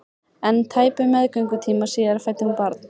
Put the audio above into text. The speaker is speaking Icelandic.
En tæpum meðgöngutíma síðar fæddi hún barn.